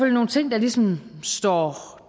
nogle ting der ligesom står